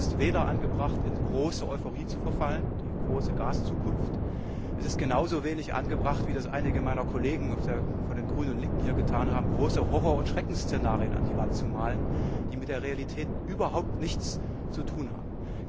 Es ist weder angebracht, in große Euphorie zu verfallen die große Gaszukunft, es ist genauso wenig angebracht wie das einige meiner Kollegen von den Grünen und Linken hier getan haben große Horror und Schreckensszenarien an die Wand zu malen, die mit der Realität überhaupt nichts zu tun haben.